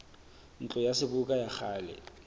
ntlo ya seboka ya kgale